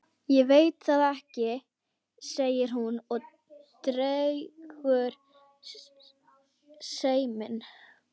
Ég veit það ekki, segir hún og dregur seiminn.